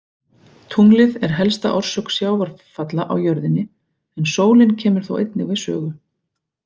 Tunglið er helsta orsök sjávarfalla á jörðinni en sólin kemur þó einnig við sögu.